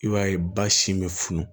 I b'a ye ba sin bɛ funun